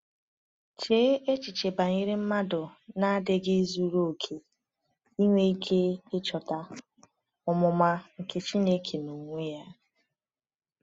Chee echiche banyere mmadụ na-adịghị zuru okè inwe ike ịchọta “omụma nke Chineke n’onwe ya”!